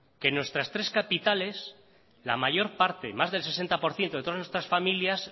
que en nuestras tres capitales la mayor parte más del sesenta por ciento de todas nuestras familias